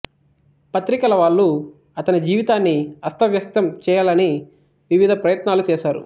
పత్రికలవాళ్ళు అతని జీవితాన్ని అస్తవ్యస్తం చేయాలని వివధ ప్రయత్నాలు చేశారు